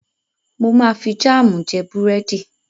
Mo máa fi jáàmù jẹ búrẹ́dì.